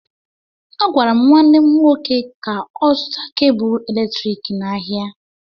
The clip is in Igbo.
Agwara m nwanne m nwoke ka ọ zụta kebụ eletriki n'ahịa